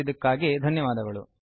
ಭಾಗವಹಿಸಿದ್ದಕ್ಕಾಗಿ ಧನ್ಯವಾದಗಳು